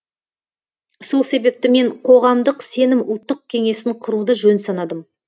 сол себепті мен қоғамдық сенім ұлттық кеңесін құруды жөн санадым